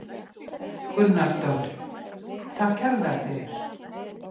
Gunnar Dofri: Takk kærlega fyrir.